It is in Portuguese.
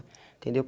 Entendeu?